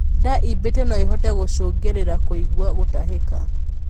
Ndaa iimbite noĩhote gũcũngĩrĩrĩa kuigua gutahiki